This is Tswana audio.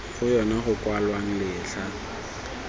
go yona go kwalwang letlha